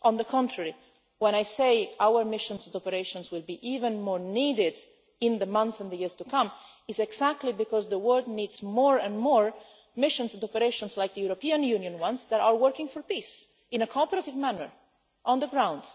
on the contrary, when I say that our missions and operations will be even more needed in the months and the years to come, it is exactly because the world needs more and more missions and operations like the European Union ones, which are working for peace in a cooperative manner on the ground.